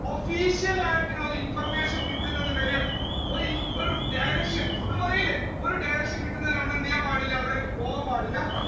official ആയിട്ടുള്ള ഒരു information കിട്ടുന്നത് വരെ ഒരു~ഒരു direction നമ്മൾ പറയില്ലേ ഒരു direction കിട്ടുന്നത് വരെ നമ്മളവിടേക്ക്പോകാൻ പാടില്ല.